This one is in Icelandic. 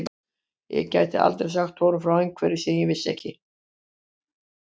Ég gæti aldrei sagt honum frá einhverju sem ég ekki vissi.